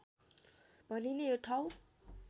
भनिने यो ठाउँ